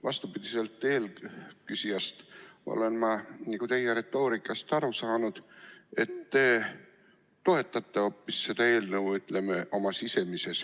Vastupidi eelküsijale olen ma teie retoorikast aru saanud, et te toetate hoopis seda eelnõu, ütleme, oma sisimas.